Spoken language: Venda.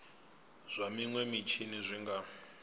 zwa minwe mitshini zwi nga